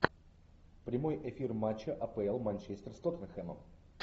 прямой эфир матча апл манчестер с тоттенхэмом